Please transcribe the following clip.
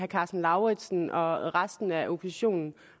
karsten lauritzen og resten af oppositionen